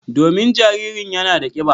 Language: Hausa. Domin jaririn yana da kiba.